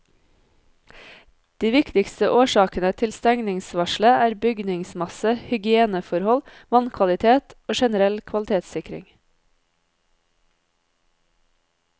De viktigste årsakene til stengningsvarselet er bygningsmasse, hygieneforhold, vannkvalitet og generell kvalitetssikring.